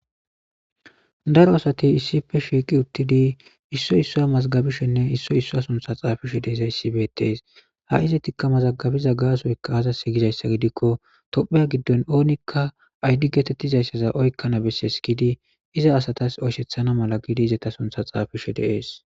Daro asati issippe shshiqi uththidi isoy isuwa mazigabashshenne issoy issuwa sunththa xafishe dizzay bettes izetikka mazagabizza gasoy azasi gizza giddikko tophphiya giddon onikka fayida gettetizzaga oyikanas besses iza asata oyshisanas gidi eta sunththa xafishe dizzagga de'es.